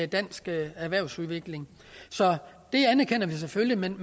dansk erhvervsudvikling så det anerkender vi selvfølgelig men